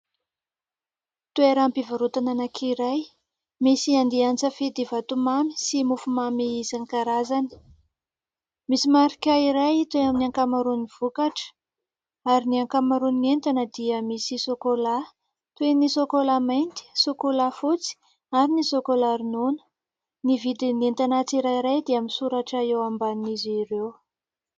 Toeram-pivarotana anankiray, misy andian-tsafidy vatomamy sy mofomamy isan-karazany, misy marika iray toy ny amin'ny ankamaroan'ny vokatra; ary ny ankamaroan'ny entana dia misy sôkôlà toy ny : sôkôlà mainty, sôkôlà fotsy ary ny sôkôlà ronono. Ny vidin'ny entana tsirairay dia misoratra eo ambanin'izy ireo.